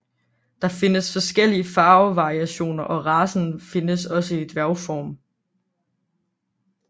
Der findes forskellige farvevarianter og racen findes også i dværgform